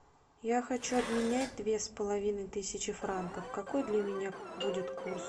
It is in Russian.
я хочу обменять две с половиной тысячи франков какой для меня будет курс